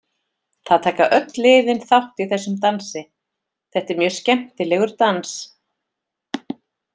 Það taka öll liðin þátt í þessum dansi, þetta er mjög skemmtilegur dans.